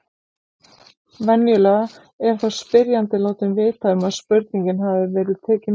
Venjulega er þá spyrjandi látinn vita um að spurningin hafi verið tekin út.